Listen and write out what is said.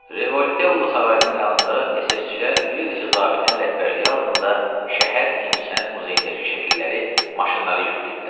Revoltello sarayının yanında SS-çilər bir neçə zabitin rəhbərliyi altında şəhər incəsənət muzeyindəki şəkilləri maşınlara yükləyirdilər.